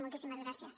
moltíssimes gràcies